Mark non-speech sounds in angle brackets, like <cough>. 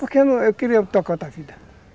Porque eu queria <unintelligible> outra vida.